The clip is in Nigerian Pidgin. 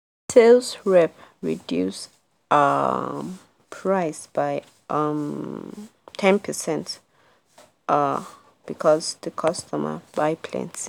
sales rep reduce um price by um ten percent um because the customer buy plenty.